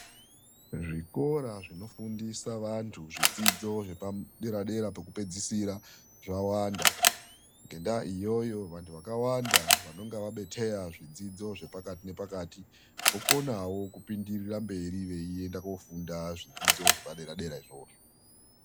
Zvikora zvinofundisa vandhu zvidzidzo zvepaderadera pekupedzisira zvawanda. Ngendaa iyoyo vandhu vakawanda vanonga vabetheya zvidzidzo zvepakati nepakati, vokonawo kupindirira mberi veienda koofunda zvidzidzo zvepaderadera izvozvo.